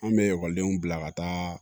An bɛ ekɔlidenw bila ka taa